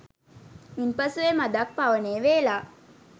ඉන්පසු එය මදක් පවනේ වේලා